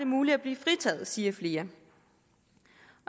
muligt at blive fritaget siger flere